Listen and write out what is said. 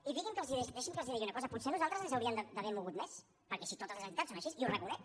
i deixin me que els digui una cosa potser nosaltres ens hauríem d’haver mogut més perquè si totes les entitats són així i ho reconec